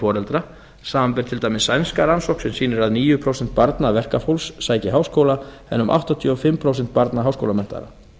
foreldra samanber til dæmis sænska rannsókn sem sýnir að níu prósent barna verkafólks sækja háskóla en um áttatíu og fimm prósent barna háskólamenntaðra